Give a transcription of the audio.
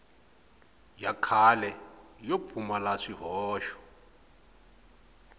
ya kahle yo pfumala swihoxo